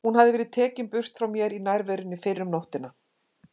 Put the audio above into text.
Hún hafði verið tekin burt frá mér í nærverunni fyrr um nóttina.